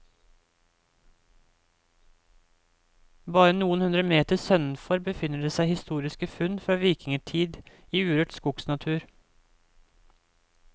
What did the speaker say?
Bare noen hundre meter sønnenfor befinner det seg historiske funn fra vikingetid i urørt skogsnatur.